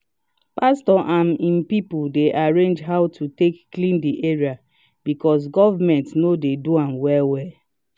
pastor and im people dey arrange how to take clean the area because government no dey do am well-well.